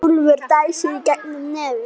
Úlfur dæsir í gegnum nefið.